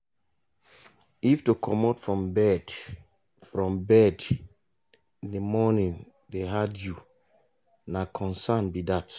if to comot from bed from bed in the morning hard you na concern be dat.